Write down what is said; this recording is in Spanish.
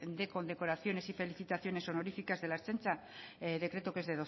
de condecoraciones y felicitaciones honorificas de la ertzaintza decreto que es